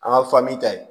An ka ta ye